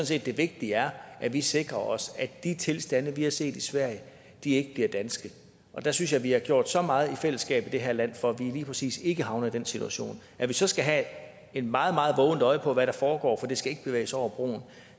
set det vigtige er at vi sikrer os at de tilstande vi har set i sverige ikke bliver danske og der synes jeg vi har gjort så meget i fællesskab i det her land for at vi lige præcis ikke havner i den situation at vi så skal have et meget meget vågent øje på hvad der foregår for det skal ikke bevæge sig over broen er